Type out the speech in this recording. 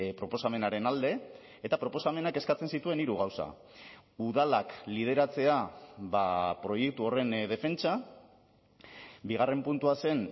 proposamenaren alde eta proposamenak eskatzen zituen hiru gauza udalak lideratzea proiektu horren defentsa bigarren puntua zen